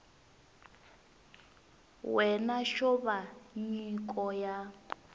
wena xo va nyiko ya